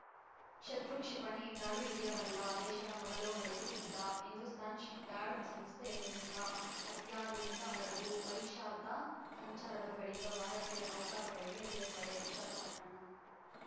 ಶತ್ರು ಕ್ಷಿಪಣಿ ಜಾಡು ಹಿಡಿಯಬಲ್ಲ ದೇಶದ ಮೊದಲ ಹಡಗು ಸಿದ್ಧ ಹಿಂದೂಸ್ತಾನ್‌ ಶಿಪ್‌ಯಾರ್ಡ್‌ ಸಂಸ್ಥೆ ನಿರ್ಮಿತ ಅತ್ಯಾಧುನಿಕ ಹಡಗು ಪರೀಕ್ಷಾರ್ಥ ಸಂಚಾರದ ಬಳಿಕ ಭಾರತೀಯ ನೌಕಾ ಪಡೆಗೆ ಸೇರ್ಪಡೆ ವಿಶಾಖಪಟ್ಟಣಂ